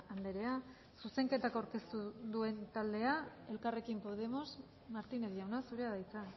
andrea zuzenketak aurkeztu duen taldea elkarrekin podemos martínez jauna zurea da hitza